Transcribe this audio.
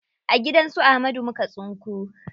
A gidan su Ahmadu muka tsinko.